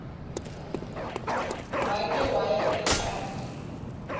wake waya ekapa